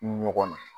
Ɲɔgɔn na